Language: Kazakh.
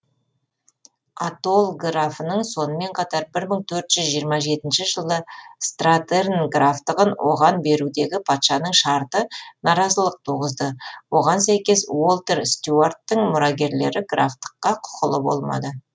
атолл графының сонымен қатар бір мың торт жүз жиырма жетінші жылы стратерн графтығын оған берудегі патшаның шарты наразылық туғызды оған сәйкес уолтер стюарттың мұрагерлері графтыққа құқылы болмады